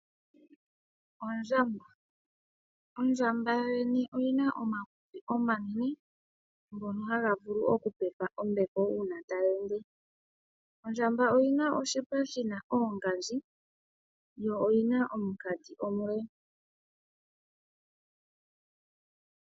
Ondjamba, ondjamba yoyene oyina omakutsi omanene, ngono haga vulu oku pepa ombepo una tayi ende. Ondjamba oyina oshipa shina oongandji, yo yina omunkati omule.